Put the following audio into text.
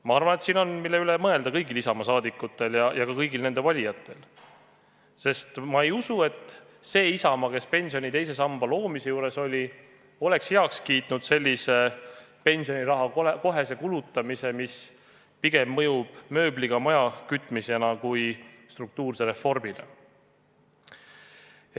Ma arvan, et siin on, mille üle mõelda nii kõigil Isamaa liikmetel kui ka kõigil nende valijatel, sest ma ei usu, et see Isamaa, kes pensioni teise samba loomise juures oli, oleks heaks kiitnud pensioniraha kohese kulutamise, mis pigem mõjub mööbliga maja kütmisena kui struktuurse reformina.